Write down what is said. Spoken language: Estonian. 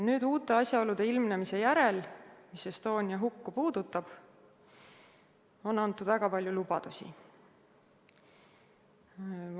Nüüd pärast uute asjaolude ilmnemist, mis Estonia hukku puudutavad, on antud väga palju lubadusi.